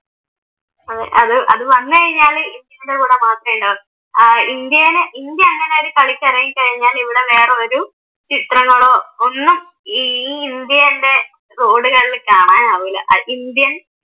അഹ് അത് അത് വന്നുകഴിഞ്ഞാല് ഇന്ത്യയുടെ കൂടെ മാത്രേ ഉണ്ടാകു. ഇന്ത്യയില് ഇന്ത്യ അങ്ങനെയൊരു കളിക്കിറങ്ങിക്കഴിഞ്ഞാൽ ഇവിടെ വേറൊരു ചിത്രങ്ങളോ ഒന്നും ഈ ഇന്ത്യയുടെ റോഡുകളിൽ കാണാനാവില്ല. ഇന്ത്യൻ